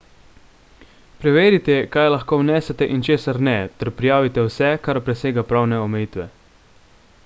preverite kaj lahko vnesete in česar ne ter prijavite vse kar presega pravne omejitve